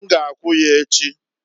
N g'akwu ya echi.